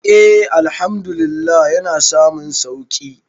e Àlhamdulillah yana samun sauki